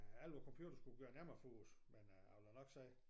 Alt ved computer skulle gøre nemmere for os men øh jeg vil da nok sige